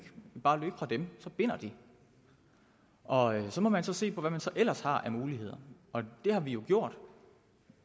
bare løbe fra dem så binder de og så må man se på hvad man så ellers har af muligheder og det har vi jo gjort